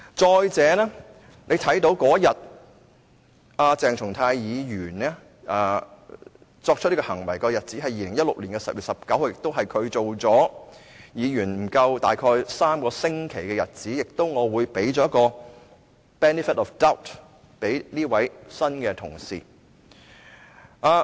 再者，鄭松泰議員做出這種行為的日子是2016年10月19日，是他成為議員不足3星期的日子，因此我會給這位新同事 benefit of doubt。